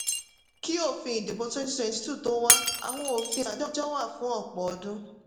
kí òfin ìdìbò twenty twenty two tó wá àwọn òfin àtijọ́ wà fún ọ̀pọ̀ ọdún.